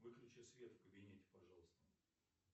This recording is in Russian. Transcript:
выключи свет в кабинете пожалуйста